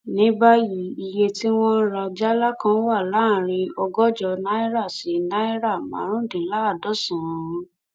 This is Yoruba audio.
ní báyìí iye tí wọn ń rà jálá kan wà láàrin ọgọjọ náírà sí náírà márùnúndínláàádọsànán